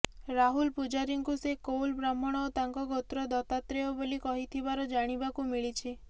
ରାହୁଲ ପୂଜାରୀଙ୍କୁ ସେ କୌଲ୍ ବ୍ରାହ୍ମଣ ଓ ତାଙ୍କ ଗୋତ୍ର ଦତାତ୍ରେୟ ବୋଲି କହିଥିବାର ଜାଣିବାକୁ ମିଳିଛି